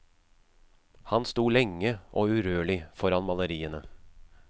Han sto lenge og urørlig foran maleriene.